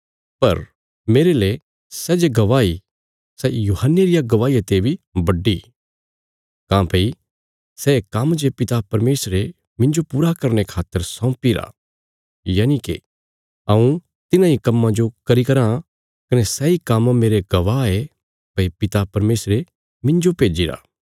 पर मेरले सै जे गवाही सै यूहन्ने रिया गवाहिया ते बी बड्डी काँह्भई सै काम्म जे पिता परमेशरे मिन्जो पूरा करने खातर सौंपीरा यनिके हऊँ तिन्हां इ कम्मां जो करी रां कने सैई काम्म मेरे गवाह ये भई पिता परमेशरे मिन्जो भेज्जिरा